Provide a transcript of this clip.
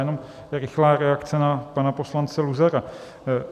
Jenom rychlá reakce na pana poslance Luzara.